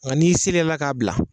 Nka n'i seri yɛrɛla ka bila.